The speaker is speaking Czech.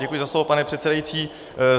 Děkuji za slovo, pane předsedající.